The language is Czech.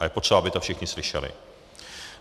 A je potřeba, aby to všichni slyšeli.